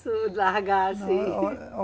largar assim. Não